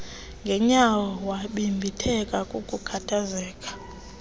ngenyawo wabibitheka kukukhathazeka